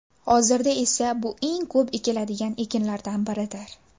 Hozirda esa bu eng ko‘p ekiladigan ekinlardan biridir.